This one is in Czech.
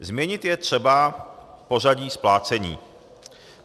Změnit je třeba pořadí splácení.